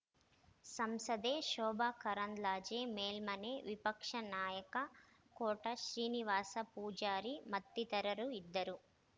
ಸಂಸದೆ ಶೋಭಾ ಕರಂದ್ಲಾಜೆ ಮೇಲ್ಮನೆ ವಿಪಕ್ಷ ನಾಯಕ ಕೋಟ ಶ್ರೀನಿವಾಸ ಪೂಜಾರಿ ಮತ್ತಿತರರು ಇದ್ದರು